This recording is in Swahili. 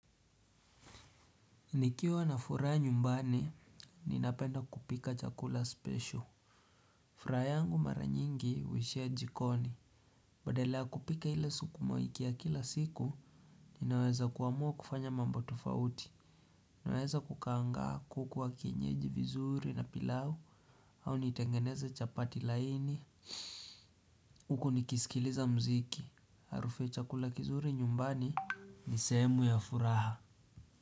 Nikiwa na furaha nyumbani, ninapenda kupika chakula spesho. Furaha yangu mara nyingi huishia jikoni. Badala ya kupika ile sukuma wiki ya kila siku, ninaweza kuamua kufanya mambo tofauti. Ninaweza kukaangaa kuku wa kienyeji vizuri na pilau au nitengeneze chapati laini. Huku nikisikiliza mziki. Harufu ya chakula kizuri nyumbani ni sehemu ya furaha.